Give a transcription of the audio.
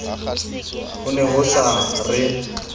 ho ne ho sa re